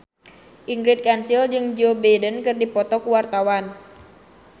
Ingrid Kansil jeung Joe Biden keur dipoto ku wartawan